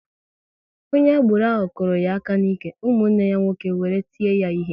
Onye agboro ahụ kụrụ ya aka n'ike, ụmụnne ya nwoke wéré tie ya ihe